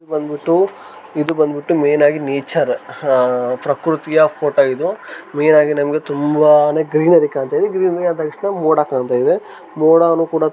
ಇದು ಬಂದ್ ಬಿಟ್ಟು ಇದು ಬಂದ್ ಬಿಟ್ಟು ಮೇನ್ ಆಗಿ ನೇಚರ್ ಆಹ್ ಪ್ರಕೃತಿಯ ಫೋಟೋ ಇದು ಮೇನ್ ಆಗಿ ನಮ್ಗೆ ತುಂಬಾ ಗ್ರೀನರಿ ಕಾಣ್ತಾ ಇದೆ ಗ್ರೇನರಿ ಅದ್ ತಕ್ಷಣ ಮೋಡ ಕಾಣ್ತಾ ಇದೆ ಮೋಡನು ಕೂಡ--